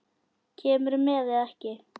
Kemurðu með eða ekki.